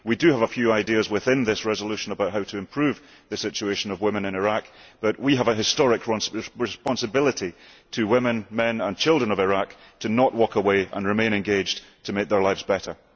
We do have a few ideas within this resolution about how to improve the situation of women in Iraq, but we have a historic responsibility to the women, men and children of Iraq to not walk away and to remain engaged to make their lives better.